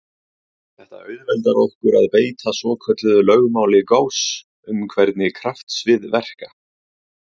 Þetta auðveldar okkur að beita svokölluðu lögmáli Gauss um hvernig kraftsvið verka.